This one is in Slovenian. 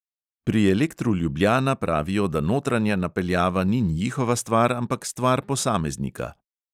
Pri elektru ljubljana pravijo, da notranja napeljava ni njihova stvar, ampak stvar posameznika.